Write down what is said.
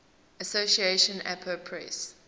association apa press